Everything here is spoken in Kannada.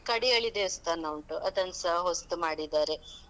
ಕಡಿಯಾಳಿ ದೇವಸ್ಥಾನ ಉಂಟು. ಅದನ್ಸಾ ಹೊಸ್ತು ಮಾಡಿದ್ದಾರೆ.